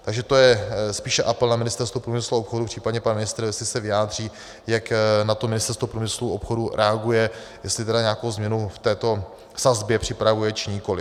Takže to je spíše apel na Ministerstvo průmyslu a obchodu, případně pan ministr, jestli se vyjádří, jak na to Ministerstvo průmyslu a obchodu reaguje, jestli tedy nějakou změnu v této sazbě připravuje, či nikoli.